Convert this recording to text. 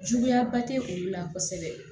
Juguyaba tɛ olu la kosɛbɛ